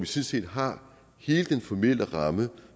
set har hele den formelle ramme